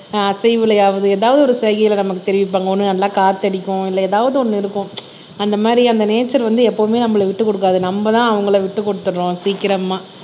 அசைவுலயாவது ஏதாவது ஒரு செய்கையில நமக்கு தெரிவிப்பாங்க ஒண்ணு நல்லா காத்தடிக்கும் இல்ல ஏதாவது ஒண்ணு இருக்கும் அந்த மாதிரி அந்த நேச்சர் வந்து எப்பவுமே நம்மளை விட்டுக் கொடுக்காது நம்மதான் அவங்களை விட்டுக் கொடுத்திடுறோம் சீக்கிரமா